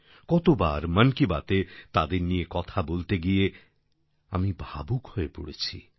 কতবার মন কি বাতএ তাদের নিয়ে কথা বলতে গিয়ে আমি ভাবুক হয়ে পড়েছি